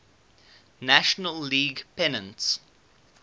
national league pennants